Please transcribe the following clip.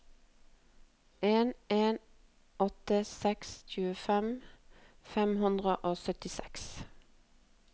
en en åtte seks tjuefem fem hundre og syttiseks